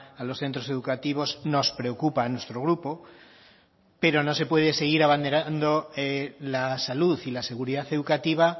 a los centros educativos nos preocupa a nuestro grupo pero no se puede seguir abanderando la salud y la seguridad educativa